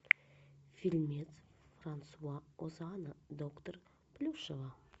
фильмец франсуа озона доктор плюшева